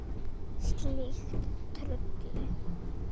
Slíkt trufli.